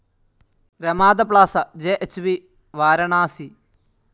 Ramada Plaza JH V Varanasi